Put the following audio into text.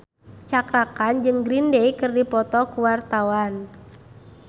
Cakra Khan jeung Green Day keur dipoto ku wartawan